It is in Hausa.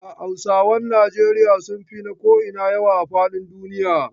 Hausawan Nijeriya sun fi na ko'ina yawa a fadin duniya.